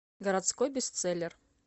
городской бестселлер